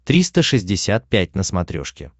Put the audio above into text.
триста шестьдесят пять на смотрешке